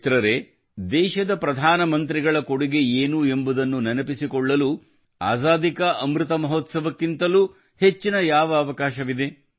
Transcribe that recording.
ಮಿತ್ರರೇ ದೇಶದ ಪ್ರಧಾನ ಮಂತ್ರಿಗಳ ಕೊಡುಗೆಯೇನು ಎಂಬುದನ್ನು ನೆನಪಿಸಿಕೊಳ್ಳಲು ಆಜಾದೀ ಕಾ ಅಮೃತಮಹೋತ್ಸವ ಕ್ಕಿಂತಲೂ ಹೆಚ್ಚಿನ ಯಾವ ಅವಕಾಶವಿದೆ